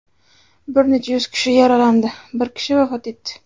Bir necha yuz kishi yaralandi, bir kishi vafot etdi.